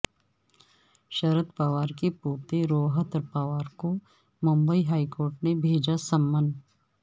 شرد پوار کے پوتے روہت پوار کو بمبئی ہائی کورٹ نے بھیجا سمن